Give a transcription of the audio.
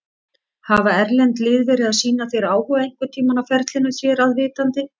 Hafa erlend lið verið að sýna þér áhuga einhverntímann á ferlinum þér að vitandi?